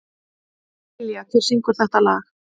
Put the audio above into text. Dilja, hver syngur þetta lag?